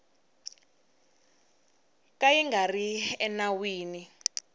ka yi nga ri enawini